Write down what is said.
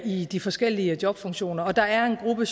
i de forskellige jobfunktioner og der er en gruppe